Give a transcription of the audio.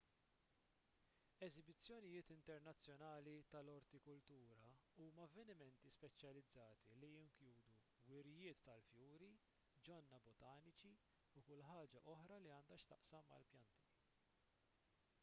eżibizzjonijiet internazzjonali tal-ortikultura huma avvenimenti speċjalizzati li jinkludu wirjiet tal-fjuri ġonna botaniċi u kull ħaġa oħra li għandha x'taqsam mal-pjanti